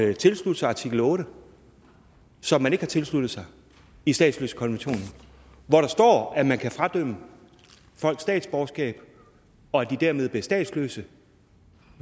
vil tilslutte sig artikel otte som man ikke har tilsluttet sig i statsløsekonventionen hvor der står at man kan fradømme folk statsborgerskab og at de dermed bliver statsløse